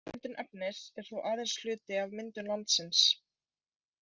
Nýmyndun efnis er þó aðeins hluti af myndun landsins.